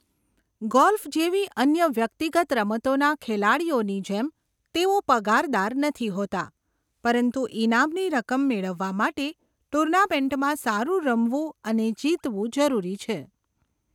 Golf જેવી અન્ય વ્યક્તિગત રમતોના ખેલાડીઓની જેમ, તેઓ પગારદાર નથી હોતાં પરંતુ ઈનામની રકમ મેળવવા માટે ટુર્નામેન્ટમાં સારું રમવું અને જીતવું જરૂરી છે.